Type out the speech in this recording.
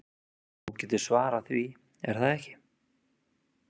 Þú getur svarað því, er það ekki?